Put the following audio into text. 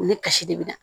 U ni kasi de bɛ na